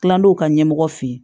Tilal'o ka ɲɛmɔgɔ fɛ yen